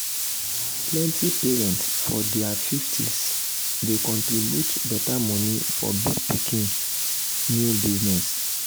plenty parents for ther 50s dey contriburte better money for big pikin new business